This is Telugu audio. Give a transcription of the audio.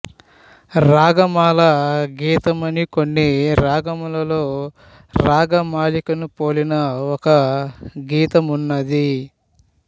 రాగమాల గీతమని కొన్ని రాగములలో రాగమాలికను పోలిన ఒక గీతమున్నది